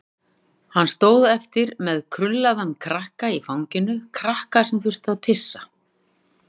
Hann stóð eftir með krullaðan krakka í fanginu, krakka sem þurfti að pissa.